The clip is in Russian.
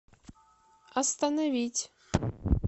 остановить